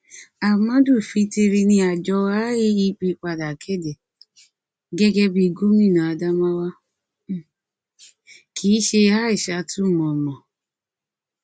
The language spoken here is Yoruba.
amadu fintiri ni àjọ iepp padà kéde gẹgẹ bí i gómìnà adamawa um kìí ṣe aishatu mọ mọ um